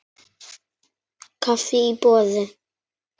Kaffi í boði.